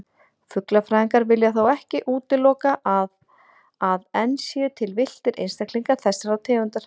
Fuglafræðingar vilja þó ekki útilokað að enn séu til villtir einstaklingar þessarar tegundar.